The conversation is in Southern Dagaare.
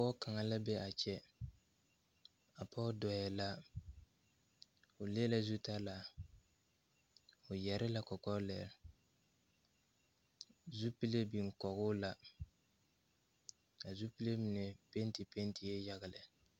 Pɔge kaŋa la be a kyɛ a pɔge dɔɔɛ la o le la zu talaa o yɛre la kɔkɔ lɛɛ zupile biŋ kɔgoo la a zupile mine penti pentie yaga lɛ.